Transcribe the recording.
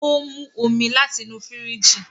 O mu omí láti inú firiji